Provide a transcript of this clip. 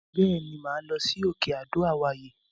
Bẹ́ẹ̀ ni, màá lọ sí òkè Adó àwáyè.